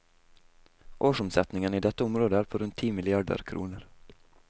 Årsomsetningen i dette området er på rundt ti milliarder kroner.